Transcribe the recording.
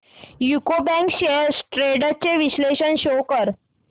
UCO bank shares trends चे विश्लेषण show कर